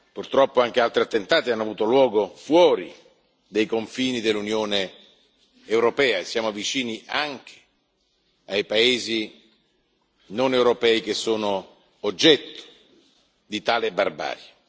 Purtroppo, anche altri attentati hanno avuto luogo fuori dei confini dell'Unione europea e siamo vicini anche ai paesi non europei che sono oggetto di tale barbarie.